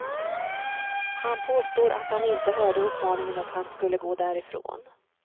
Han påstår att han inte hörde uppmaningen att han skulle gå därifrån.